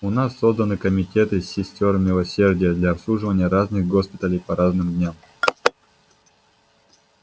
у нас созданы комитеты сестёр милосердия для обслуживания разных госпиталей по разным дням